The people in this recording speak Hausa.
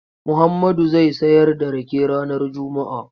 Muhammadu zai sayar da rake ranar Juma'a.